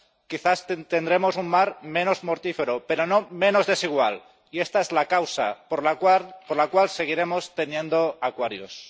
Quizás tendremos un mar menos mortífero, pero no menos desigual, y esta es la causa por la cual seguiremos teniendo Aquarius.